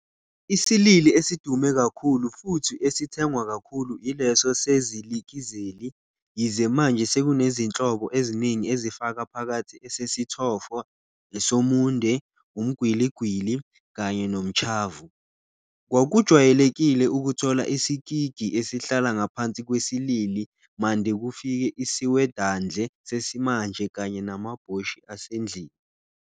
Isilili esidume kakhulu futhi esithengwa kakhulu ileso sesilikizeli, yize manje sekunezinhlobo eziningi ezifaka phakathi esesithofo, esomunde, umgwiligwili, kanye nomtshavu. Kwakujwayelekile ukuthola isikigi esihlala ngaphansi kwesilili mande kufike isiwedandle sesimanje kanye namabhoshi asendlini.